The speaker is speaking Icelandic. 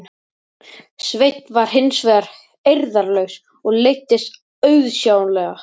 Sveinn var hins vegar eirðarlaus og leiddist auðsjáanlega.